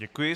Děkuji.